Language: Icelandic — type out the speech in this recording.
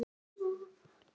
Já, sagði Abba hin.